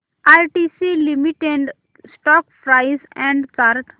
ITC limited stock price and chart